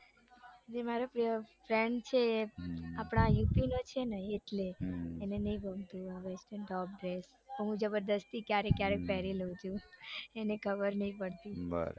જે મારો friend છે ને એ આપડા યુપીનો છે ને એટલે એને નઈ western top dress પણ હું જબરજસ્તી ક્યારેક કયારેક પેરી લઉં છું એને ખબર નઈ પડતી.